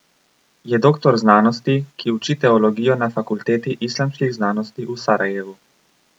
Je doktor znanosti, ki uči teologijo na Fakulteti islamskih znanosti v Sarajevu.